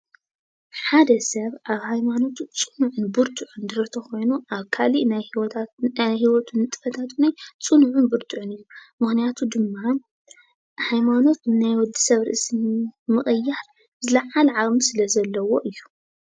ሓደ ሰብ ኣብ ሃይማኖቱ ፅኑዕን ቡርትዕን እንተኮይኑ ኣብ ካሊእ ናይ ሂወቱ ንጥፍታቱ ዉነይ ፅኑዕን ቡርቱዕን ኢዩ፡፡ ምክንያቱ ድማ ሃይማኖት ንናይ ወዲ ሰብ ርእሲ ምቅያር ዝልዓለ ዓቅሚ ስለ ዘለዎ እዩ፡፡